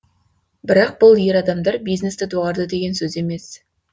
бірақ бұл ер адамдар бизнесті доғарды деген сөз емес